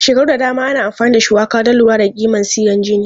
Shekaru da dama ana amfani da shuwaka don lura da kiman sigan jini.